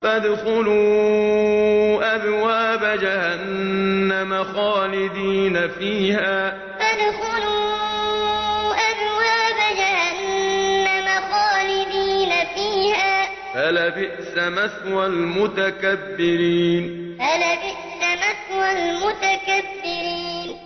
فَادْخُلُوا أَبْوَابَ جَهَنَّمَ خَالِدِينَ فِيهَا ۖ فَلَبِئْسَ مَثْوَى الْمُتَكَبِّرِينَ فَادْخُلُوا أَبْوَابَ جَهَنَّمَ خَالِدِينَ فِيهَا ۖ فَلَبِئْسَ مَثْوَى الْمُتَكَبِّرِينَ